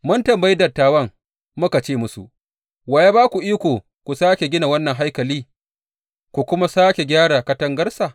Mun tambayi dattawan muka ce musu, Wa ya ba ku iko ku sāke gina wannan haikali, ku kuma sāke gyara katangarsa?